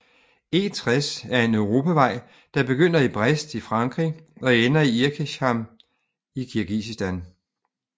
E60 er en europavej der begynder i Brest i Frankrig og ender i Irkeshtam i Kirgisistan